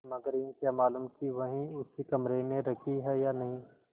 मगर यह क्या मालूम कि वही उसी कमरे में रखी है या नहीं